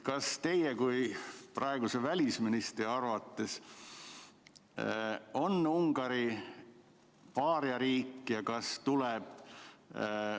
Kas teie kui praeguse välisministri arvates on Ungari paariariik?